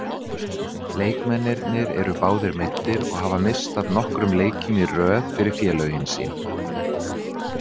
Leikmennirnir eru báðir meiddir og hafa misst af nokkrum leikjum í röð fyrir félögin sín.